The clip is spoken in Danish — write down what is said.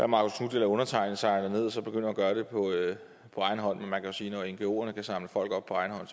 marcus knuth eller undertegnede sejler derned og så begynder at gøre det på egen hånd men man kan sige at når ngoerne kan samle folk op på egen hånd